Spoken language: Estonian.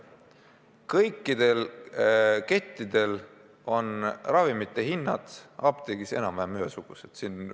Kõikidel kettidel on ravimite hinnad apteekides enam-vähem ühesugused.